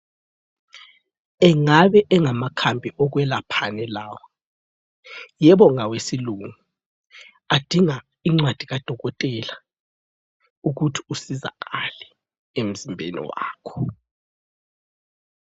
Engabe engamakhambi okwelaphani lawa? Yebo ngawesilungu, adinga incwadi kadokotela ukuthi usizakale emzimbeni wakho.